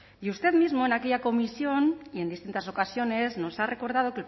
y usted mismo en aquella comisión y en distintas ocasiones nos ha recordado